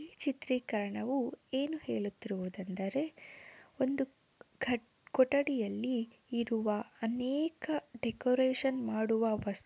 ಈ ಚಿತ್ರೀಕರಣ ಏನು ಹೇಳುತ್ತಿರುವುದು ಎಂದರೆ ಒಂದು ಕೊಠಡಿಯಲ್ಲಿ ಇರುವ ಅನೇಕ ಡೆಕೋರೇಷನ್ ಮಾಡುವ ವಸ್ತು --